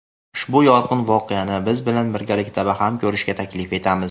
Ushbu yorqin voqeani biz bilan birgalikda baham ko‘rishga taklif etamiz.